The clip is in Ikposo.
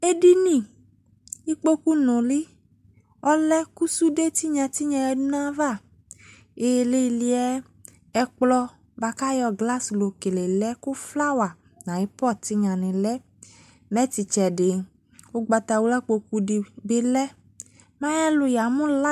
Edini, ikpoku nule ɔlɛ ko sude tenya yadu nava, ileleɛ ɛkplɔ boako ayɔ glass lo kele lɛ, ko flower na aye pot tenya ne lɛ Mɛ te tsɛde, ugbatawla kpoju de be lɛ Mɛ ayelu ya mu lai